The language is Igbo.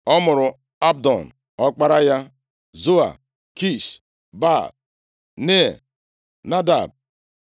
Ọ mụrụ Abdon, ọkpara ya, Zua, Kish, Baal, Nea, Nadab,